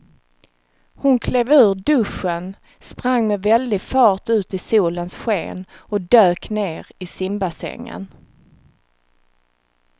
Hon klev ur duschen, sprang med väldig fart ut i solens sken och dök ner i simbassängen.